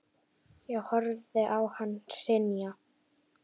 Ég horfði á hann hrynja.